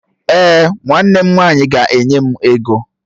Èè, nwanne m nwanyị ga-enye m ego